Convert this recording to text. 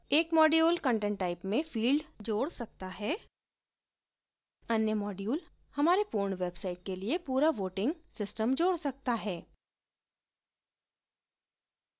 एक module content type में field जोड सकता है अन्य module हमारे पूर्ण website के लिए पूरा voting system जोड सकता है